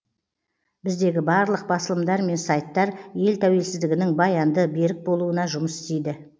біздегі барлық басылымдар мен сайттар ел тәуелсіздігінің баянды берік болуына жұмыс істейді